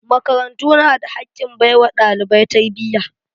Makarantu na da hakkin baiwa dalibai tarbiyya.